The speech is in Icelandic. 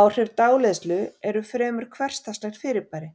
Áhrif dáleiðslu eru fremur hversdagslegt fyrirbæri